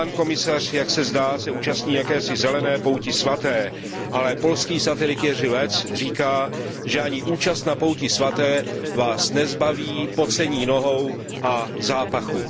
Pan komisař, jak se zdá, se účastní zelené poutě svaté, ale polský satirik Jerzy Lec říká, že ani účast na pouti svaté vás nezbaví pocení nohou a zápachu.